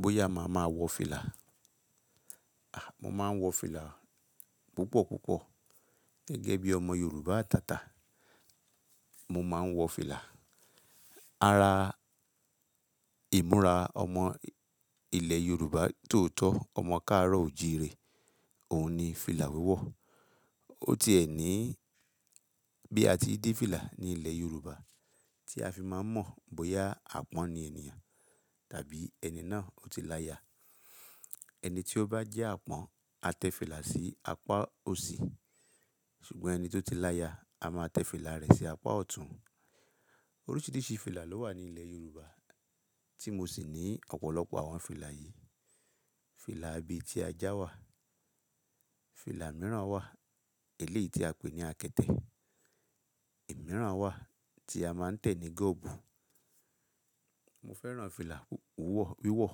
Bóyá màá ma wọ fìlà? A! Mo máa ń wọ fìlà púpọ̀ púpọ̀. Gẹ́gẹ́ bí ọmọ Yorùbá àtàtà, mo máa ń wọ fìlà. Ara ìmúra ọmọ ilẹ̀ Yorùbá tó tọ́, ọmọ ká àárọ̀ ò jíire, òun ni fìlà wíwọ̀. Ó ti ẹ̀ ní bí a ti dé fìlà ní ilẹ̀ Yorùbá tí a fi máa ń mọ̀ bóyá àpọ́n ni ènìyàn tàbí ẹni náà ó ti láya. Ẹni tí ó bá jẹ́ àpọ́n, a tẹ fìlà sí apá òsì. Ṣùgbọ́n ẹni tó ti láya, a máa tẹ fìlà rẹ̀ sí apá ọ̀tún. Oríṣiríṣi fìlà ló wà ní ilẹ̀ Yorùbá tí mo sì ní ọ̀pọ̀lọpọ̀ àwọn fìlà yìí. Fìlà abetíajá wà, fìlà mìíràn wà eléyìí tí a pè ní akẹtẹ̀, ẹ̀ mìíràn wà tí a máa ń tẹ̀ ní gọ̀bù. Mo fẹ́ràn fìlà wúwọ̀, wíwọ̀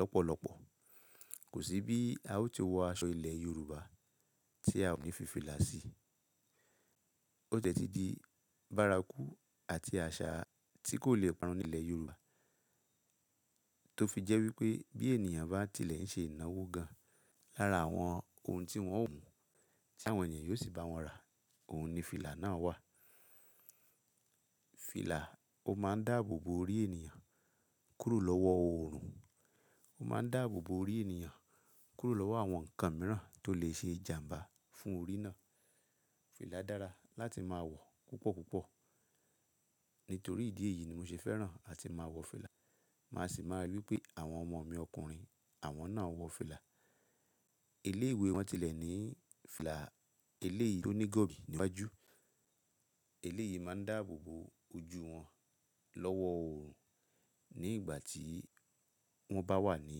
lọ́pọ̀lọpọ̀. Kò sí bí a ó ti wọ aṣọ ilẹ̀ Yorùbá tí a ò ki n fi fìlà sí. Ó tẹ́tí di bárakú àti àṣà tí kò le parun ní ilẹ̀ Yorùbá. Tó fi jẹ́ wípé bí ènìyàn bá tilẹ̀ ń ṣe ìnáwó gan-an lára àwọn ohun tí wón ó wùú, tí àwọn ènìyàn yóò sì bá wọn ra, òun ni fìlà náà wà. Fìlà ó máa ń dáàbò bo orí ènìyàn kúrò lọ́wọ́ oòrùn. Ó máa ń dáàbò bo orí ènìyàn kúrò lọ́wọ́ àwọn nǹkan mìíràn tó lè ṣe ìjàmbá fún orí náà. Fìlà dára láti máa wọ̀ púpọ̀ púpọ̀. Nítorí ìdí èyí ni mo ṣe fẹ́ràn àti máa wọ fìlà. Màá sì máa rí wípé àwọn ọmọ mi ọkùnrin àwọn náà wọ fìlà. Ilé ìwé wọ́n tilẹ̀ ní fìlà eléyìí tó ní gọ̀bì níwájú. Eléyìí máa ń dáàbò bo ojú wọn lọ́wọ́ oòrùn ní ìgbà tí wọ́n bá wà ní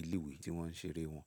ilé ìwé tí wọ́n ń ṣeré wọn.